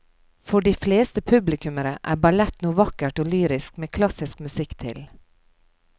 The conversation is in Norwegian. For de fleste publikummere er ballett noe vakkert og lyrisk med klassisk musikk til.